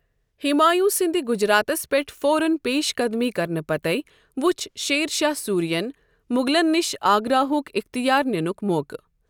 ہمایوں سندِ گجراتس پیٹھ فوراًپیشقدمی کرنہٕ پتے وچھ شیر شاہ سوٗری ین مۄغلن نِش آگراہک اِختیار نیک موقعہٕ۔